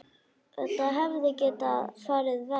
Þetta hefði getað farið verr.